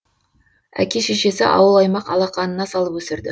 әке шешесі ауыл аймақ алақанына салып өсірді